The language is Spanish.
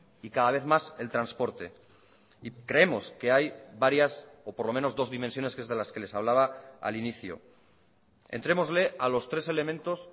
y cada vez más el transporte y creemos que hay varias o por lo menos dos dimensiones que es de las que les hablaba al inicio entrémosle a los tres elementos